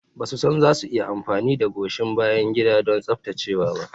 Ba su san za su iya amfani da goshin bayan gida don tsaftacewa ba.